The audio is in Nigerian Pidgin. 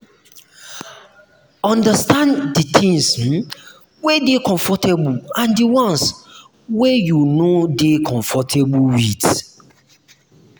understand di things um wey you dey comfortable and di ones wey you no dey um comfortable with